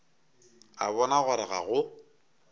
a bona gore ga go